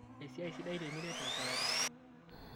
Esiai sidai tiniret lchoreta